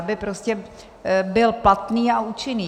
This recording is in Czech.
Aby prostě byl platný a účinný.